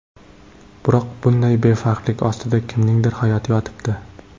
Biroq bunday befarqlik ostida kimningdir hayoti yotibdi.